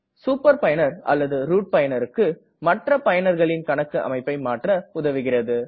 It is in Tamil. சூப்பர் பயனர் அல்லது ரூட் பயனர்க்கு மற்ற பயனர்களின் கணக்கு அமைப்பை மாற்ற உதவுகிறது